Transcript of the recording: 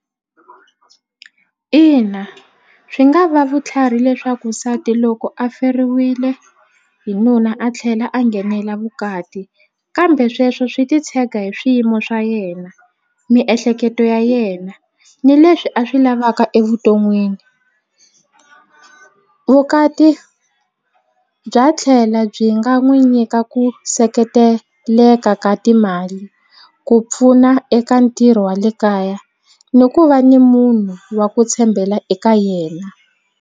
Ina swi nga va vutlhari leswaku nsati loko a feriwile hi nuna a tlhela a nghenela vukati kambe sweswo swi titshega hi swiyimo swa yena miehleketo ya yena ni leswi a swi lavaka evuton'wini vukati bya tlhela byi nga n'wi nyika ku seketeleka ka timali ku pfuna eka ntirho wa le kaya ni ku va ni munhu wa ku tshembela eka yena.